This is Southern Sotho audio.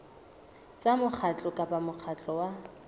tsa mokgatlo kapa mokgatlo wa